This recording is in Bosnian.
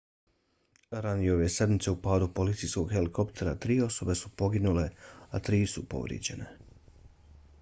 ranije ove sedmice u padu policijskog helikoptera tri osobe su poginule a tri su povrijeđene